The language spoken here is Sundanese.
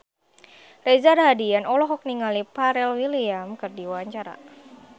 Reza Rahardian olohok ningali Pharrell Williams keur diwawancara